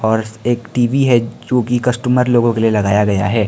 और एक टी_वी है जो कि कस्टमर लोगों के लिए लगाया गया है।